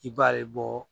I b'a ye bɔ